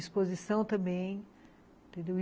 Exposição também, entendeu?